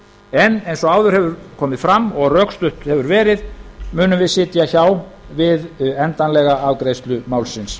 en eins og áður hefur komið fram og rökstutt hefur verið munum við sitja hjá við endanlega afgreiðslu málsins